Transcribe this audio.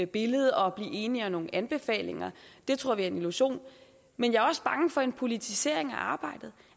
billede og blive enige om nogle anbefalinger det tror vi er en illusion men jeg er også bange for en politisering af arbejdet